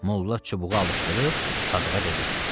Molla çubuğu alışdırıb Sadığa dedi: